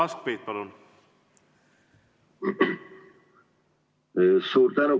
Suur tänu!